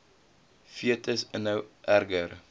fetus inhou erger